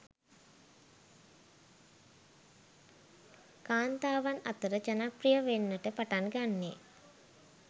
කාන්තාවන් අතර ජනප්‍රිය වෙන්නට පටන් ගන්නේ